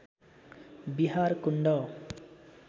Bihar Kund